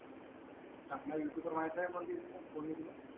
चांगला यूट्यूबर वर माहित आहे का कोणती तुला कोणी तुला